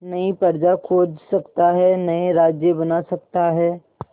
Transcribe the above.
नई प्रजा खोज सकता है नए राज्य बना सकता है